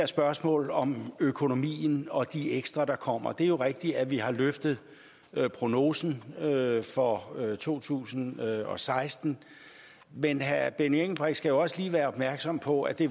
spørgsmålet om økonomien og de ekstra flygtninge der kommer det er jo rigtigt at vi har løftet prognosen for to tusind og seksten men herre benny engelbrecht skal også lige være opmærksom på at det